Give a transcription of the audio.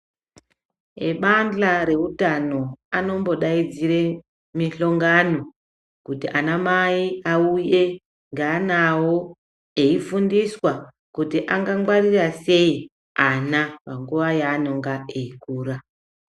Ebandla reutano anombodaidzire mihlongano kuti ana Mai auye ngeana avo eifundisa kuti angangwarira sei ana panguva yavanenge veikura